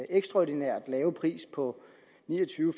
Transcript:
ekstraordinært lave pris på ni og tyve